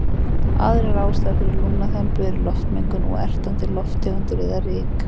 Aðrar ástæður fyrir lungnaþembu eru loftmengun og ertandi lofttegundir eða ryk.